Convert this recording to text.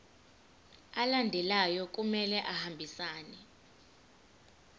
alandelayo kumele ahambisane